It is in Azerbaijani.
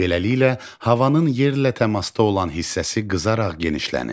Beləliklə, havanın yerlə təmasda olan hissəsi qızaraq genişlənir.